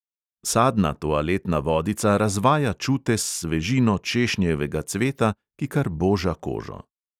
Sadna toaletna vodica razvaja čute s svežino češnjevega cveta, ki kar boža kožo.